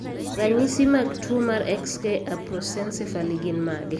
Ranyisi mag tuwo mar XK aprosencephaly gin mage?